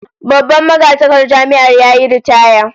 Babban magatakardar Jami'ar yayi ritaya